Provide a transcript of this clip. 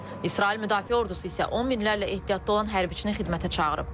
İsrail Müdafiə Ordusu isə on minlərlə ehtiyatda olan hərbçini xidmətə çağırıb.